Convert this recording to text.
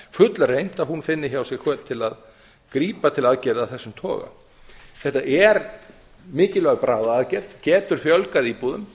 fullreynt að hún finni hjá sér hvöt til að grípa til aðgerða af þessum toga þetta er mikilvæg bráðaaðgerð getur fjölgað íbúðum